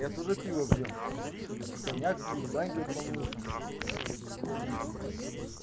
я тоже пиво пью и коньяк пью и в баньке помылся свеженький